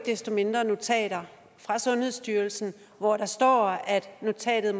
desto mindre notater fra sundhedsstyrelsen hvor der står at notatet